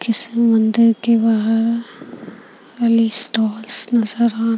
किसी मंदिर के बाहर नजर आ--